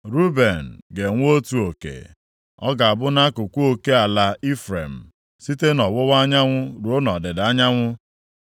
Ruben ga-enwe otu oke. Ọ ga-abụ nʼakụkụ oke ala Ifrem, site nʼọwụwa anyanwụ ruo nʼọdịda anyanwụ.